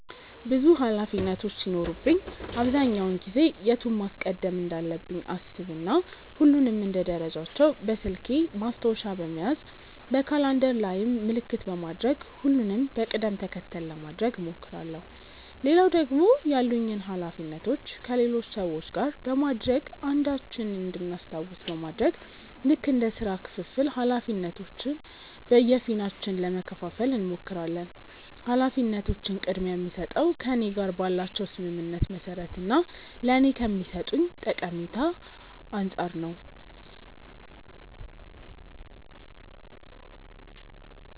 ብዙ ኃላፊነቶች ሲኖሩብኝ አብዛኛውን ጊዜ የቱን ማስቀደም እንዳለብኝ አሰብ እና ሁሉንም እንደ ደረጃቸው በስልኬ ማስታወሻ በመያዝ በካላንደር ላይም ምልክት በማድረግ ሁሉንም በቅድም ተከተል ለማድረግ እሞክራለው። ሌላው ደግሞ ያሉኝን ኃላፊነቶች ከሌሎች ሰዎች ጋር በማድረግ አንዳችን እንድናስታውስ በማድረግ ልክ እንደ ስራ ክፍፍል ኃላፊነቶችን በየፊናችን ለመከፈፋል እንሞክራለን። ኃላፊነቶችን ቅድምያ የምስጠው ከእኔ ጋር ባላቸው ስምምነት መሰረት እና ለኔ ከሚሰጡኝ ጠቀሜታ አንፃር ነው።